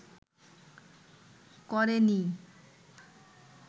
ক’রে নিই